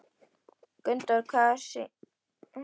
Gunndór, hvaða sýningar eru í leikhúsinu á laugardaginn?